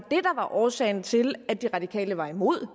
årsagen til at de radikale var imod og